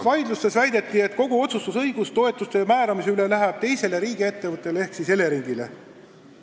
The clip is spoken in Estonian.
Vaidlustes väideti, et kogu otsustusõigus toetuste määramise üle läheb teisele riigiettevõttele ehk Eleringile.